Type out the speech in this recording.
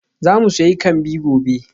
Za mu sayi kambi gobe.